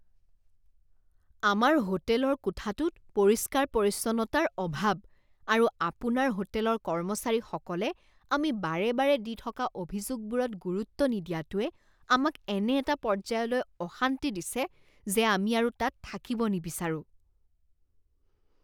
আমাৰ হোটেলৰ কোঠাটোত পৰিষ্কাৰ পৰিচ্ছন্নতাৰ অভাৱ আৰু আপোনাৰ হোটেলৰ কৰ্মচাৰীসকলে আমি বাৰে বাৰে দি থকা অভিযোগবোৰত গুৰুত্ব নিদিয়াটোৱে আমাক এনে এটা পৰ্যায়লৈ অশান্তি দিছে যে আমি আৰু তাত থাকিব নিবিচাৰোঁ।